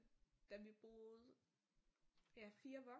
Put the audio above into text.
Da vi boede ja 4 voksne